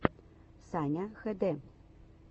саня хд